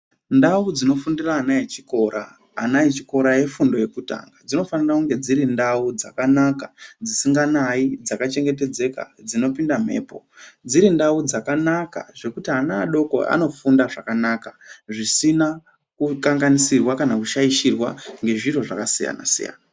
Ndau dzinofundira ana echikora, ana echikora efundo yekutanga dzinofanire kunge dzirindau dzakanaka dzisinganayi, dzakachengetedzeka dzinopinda mhepo, dzirindau dzakanaka zvekuti ana adoko anofunda zvakanaka zvisina kukanganisirwa kana kushaishirwa ngezviro zvakasiyana-siyana.